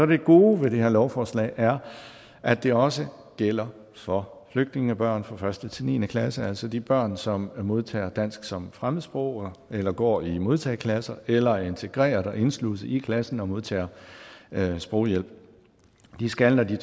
det gode ved det her lovforslag er at det også gælder for flygtningebørn fra første til niende klasse altså de børn som modtager dansk som fremmedsprog eller går i modtageklasser eller er integreret og indsluset i klassen og modtager sproghjælp de skal når de